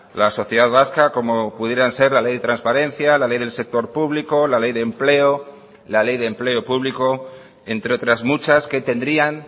la sociedad vasca como pudieran ser la ley de transparencia la ley del sector público la ley de empleo la ley de empleo público entre otras muchas que tendrían